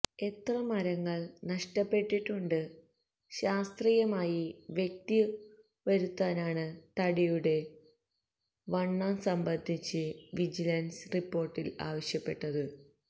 എത്ര മരങ്ങള് നഷ്ടപ്പെട്ടിട്ടുണ്ടെന്ന് ശാസ്ത്രീയമായി വ്യക്തവരുത്താനാണ് തടിയുടെ വണ്ണം സംബന്ധിച്ച് വിജിലന്സ് റിപ്പോര്ട്ടില് ആവശ്യപ്പെട്ടത്